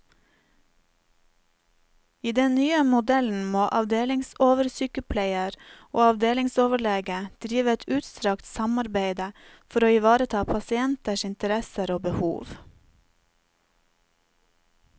I den nye modellen må avdelingsoversykepleier og avdelingsoverlege drive et utstrakt samarbeide for å ivareta pasienters interesser og behov.